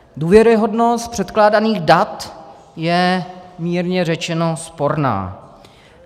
Důvěryhodnost předkládaných dat je mírně řečeno sporná.